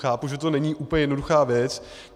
Chápu, že to není úplně jednoduchá věc.